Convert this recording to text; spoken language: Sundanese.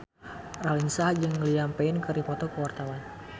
Raline Shah jeung Liam Payne keur dipoto ku wartawan